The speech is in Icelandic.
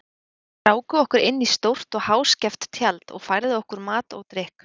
Þeir ráku okkur inn í stórt og háskeft tjald og færðu okkur mat og drykk.